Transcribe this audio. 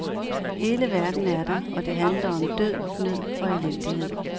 Hele verden er der, og det handler om død, nød og elendighed.